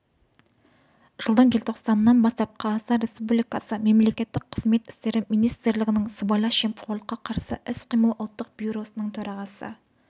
жылдың желтоқсанынан бастап қазақстан республикасы мемлекеттік қызмет істері министрлігінің сыбайлас жемқорлыққа қарсы іс-қимыл ұлттық бюросының төрағасы